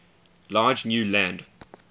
large new land